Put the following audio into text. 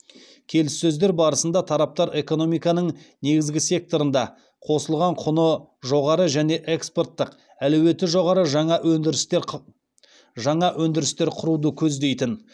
келіссөздер барысында тараптар экономиканың негізгі секторында қосылған құны жоғары және экспорттық әлеуеті жоғары жаңа өндірістер құруды көздейтін